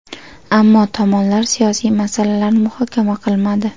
Ammo tomonlar siyosiy masalalarni muhokama qilmadi.